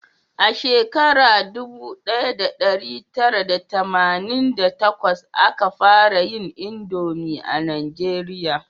A shekara dubu daya da dari tara da tamanin da takwas a ka fara yin indomi a najeriya